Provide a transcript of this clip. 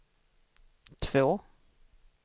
två